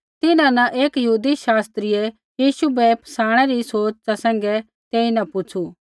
तिन्हां न एकी यहूदी शास्त्रियै यीशु बै फसाणै री सोच़ा सैंघै तेईन पुछ़ू